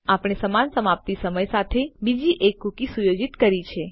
આપણે સમાન સમાપ્તિ સમય સાથે બીજી એક કુકી સુયોજિત કરી છે